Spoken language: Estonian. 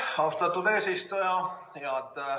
Austatud eesistuja!